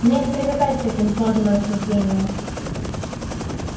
мне не привыкать к таким сложным рассуждениям